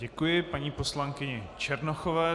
Děkuji paní poslankyni Černochové.